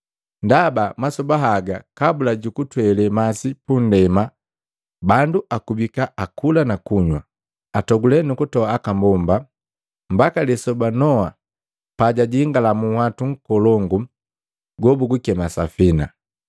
Ndaba masoba haga kabula jukutwele masi punndema bandu akubika akakula na kunywa, atogulika nukutola aka mbomba, mbaka lisoba Noa pajajingala munhwatu nkolongu gobugukema safina.